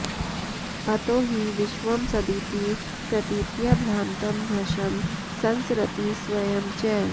अतो हि विश्वं सदिति प्रतीत्या भ्रान्तं भृशं संसरति स्वयं च